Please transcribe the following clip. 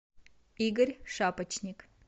игорь шапочник